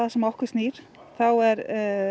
sem okkur snýr þá er